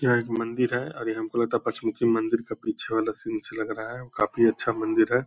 यह एक मंदिर है और ये हमको लगता है पंचमुखी मंदिर के पीछे वाला सीन अच्छा लग रहा है और काफी अच्छा मंदिर है।